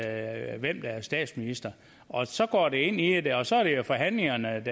er statsminister og så går vi ind i det og så er det jo forhandlingerne